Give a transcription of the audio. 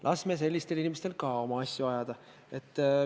Laseme ka sellistel inimestel oma asju ajada.